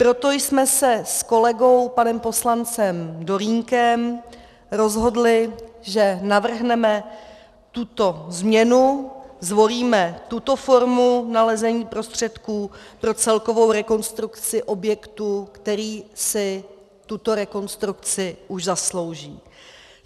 Proto jsme se s kolegou panem poslancem Dolínkem rozhodli, že navrhneme tuto změnu, zvolíme tuto formu nalezení prostředků pro celkovou rekonstrukci objektu, který si tuto rekonstrukci už zaslouží.